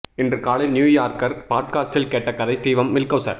இன்று காலை New Yorker பாட்காஸ்டில் கேட்ட கதை ஸ்டீவம் மில்ஹௌசர்